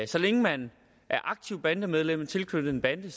så længe man er aktivt bandemedlem og tilknyttet en bande